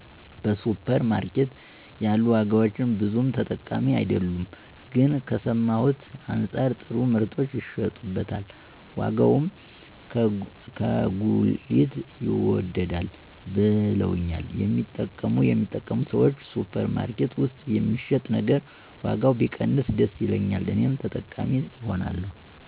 በሱፐር ማርኬት ያሉ ዋጋዎች ብዙም ተጠቃሚ አይደለሁም ግን ከሰማሁት አንጻር ጥሩ ምርቶች ይሸጡበታል ዋጋውም ከጉሊት ይወደዳል ብለውኛል የሚጠቀሙ ሰዎች። ሱፐር ማርኬት ውስጥ የሚሸጥ ነገር ዋጋው ቢቀንስ ደስ ይለኛል እኔም ተጠቃሚ እሆናለሁ።